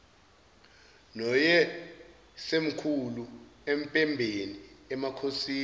noyisemkhulu empembeni emakhosini